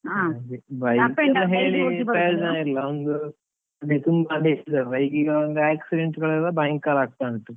ಹಾಗೆ bike ಗ ಒಂದು accident ಗಳೆಲ್ಲ ಭಯಂಕರ ಆಗ್ತಾ ಉಂಟು.